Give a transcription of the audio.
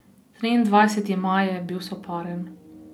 Triindvajseti maj je bil soparen.